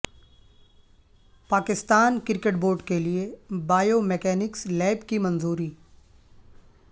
Pakistan cricket board کیلئے bio mechanics lab کی منظوری